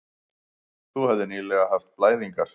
Þú hefðir nýlega haft blæðingar.